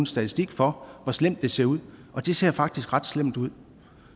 statistik for hvor slemt det ser ud og det ser faktisk ret slemt ud